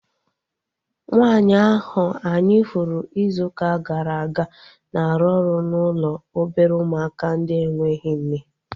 Nwaanyi ahu anyị hụrụ izu ụka gara aga na-arụ ọrụ n'ụlọ obere ụmụaka ndị enweghị nne